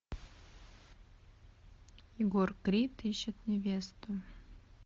егор крид ищет невесту